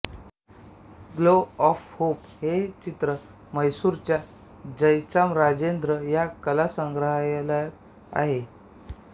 glow of hope हे चित्र म्हैसूरच्या जयचामराजेन्द्र या कला संग्रहालयात आहे